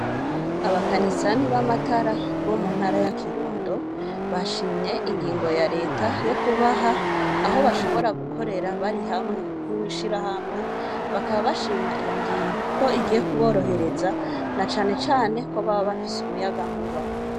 Abakanisani b' amatara bo ntara ya Kirundo, bashimye ingingo ya leta yo kubaha aho bashobora gukorera bari hamwe nk' ishirahamwe, bakaba bashima iyo ngingo ko igiye kuborohereza, na cane cane ko baba bafise umuyagankuba.